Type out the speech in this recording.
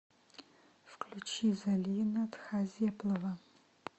включи залина тхазеплова